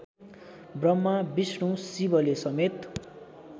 Brahma Vishnu शिवलेसमेत